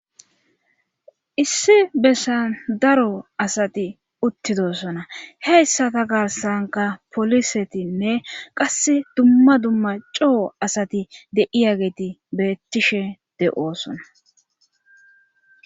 issi bessan daro asati uttidosona heyssata karsanka polisetinne qass dumma dumma coo asati de7iyageti beettishe de7oosona